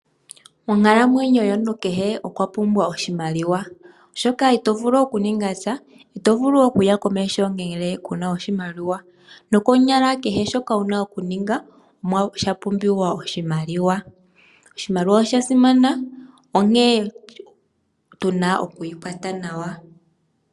Onkalamwenyo yomuntu kahe okwa pumbwa oshimaliwa, oshoka ito vulu okuninga sha, ito vulu okuya komeho ngele ku na oshimaliwa. Konyala kehe shoka wu na okuninga osha pumbiwa oshimaliwa. Oshimaliwa osha simana, onkene otu na oku shi kwata nawa.